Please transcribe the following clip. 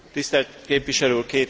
Tisztelt képviselő úr!